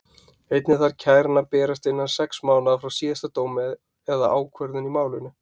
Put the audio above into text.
Einnig þarf kæran að berast innan sex mánaða frá síðasta dómi eða ákvörðun í málinu.